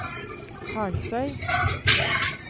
Karlsøy